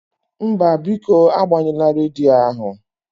Mba, biko agbanyụla rediyo ahụ